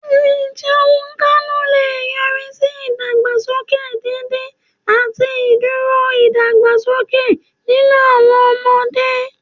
Àìjẹunkánú lè yọrí sí ìdàgbàsókè dídín àti ìdúró ìdàgbàsókè nínú àwọn ọmọdé.